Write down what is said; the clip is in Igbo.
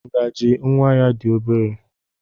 Ngaji nwa ya dị obere.